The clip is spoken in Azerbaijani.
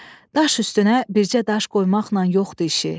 Daş üstünə bircə daş qoymaqla yox idi işi.